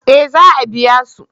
eh za a biya su